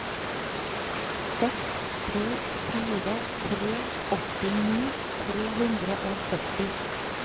seks to fire tre åttini tre hundre og førti